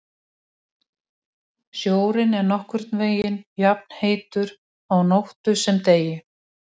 Sjórinn er nokkurn veginn jafnheitur á nóttu sem degi.